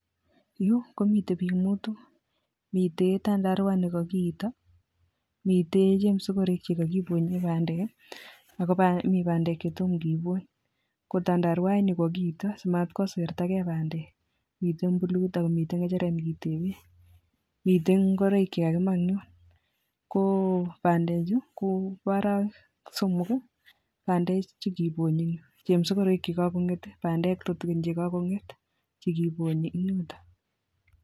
Yu komite biik muut mite tandarwa nekakiito miite chemsogorek chekakibonye bandek akomi bandek che toma kebpny, kotandarwai ni kakiito simatkosertagei bandek mite akomite ng'echeret neketebe mite ngoroik chekakimaa ng'yo kobandechu kobo arawek somok bandechu kibonyi ng'yu chemsogorek chekagong'et bandek tutigiin chekagong'et chekibonyi ng'yutok